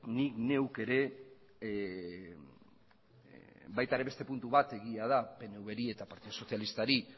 ni neuk ere baita ere beste puntu bat egia da pnv ri eta partido sozialista ri